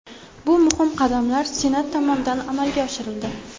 Bu muhim qadamlar Senat tomonidan amalga oshirildi.